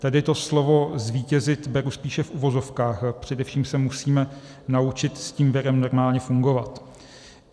Tedy to slovo zvítězit beru spíše v uvozovkách, především se musíme naučit s tím virem normálně fungovat.